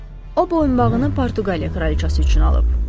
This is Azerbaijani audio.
O boyunbağını Portuqaliya kraliçası üçün alıb.